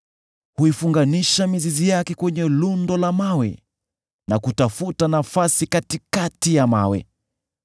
huifunganisha mizizi yake kwenye lundo la mawe, na kutafuta nafasi katikati ya mawe.